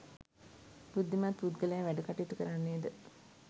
බුද්ධිමත් පුද්ගලයා වැඩ කටයුතු කරන්නේද,